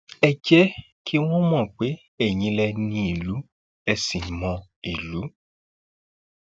ẹ jẹ kí wọn mọ pé eyín lẹ ní ìlú ẹ ṣì mọ ìlú